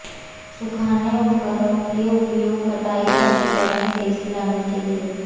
सुखाने उपकरणों के उपयोग कटाई प्रक्रिया में तेजी लाने के लिए